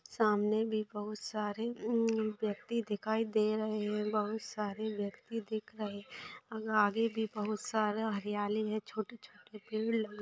सामने भी बहुत सारे अमम व्यक्ति दिखाई दे रहै है बहुत सारे व्यक्ति दिख रहै और आगे बहुत सारा हरियाली है छोटी छोटी पेड लगे--